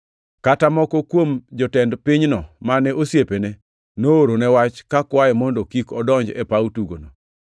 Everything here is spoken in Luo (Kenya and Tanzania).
Kata moko kuom jotend pinyno mane osiepene, noorone wach kakwaye mondo kik odonj e paw tugono.